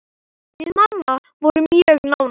Við mamma vorum mjög nánar.